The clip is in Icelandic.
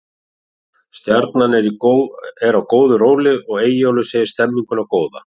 Stjarnan er á góðu róli og Eyjólfur segir stemminguna góða.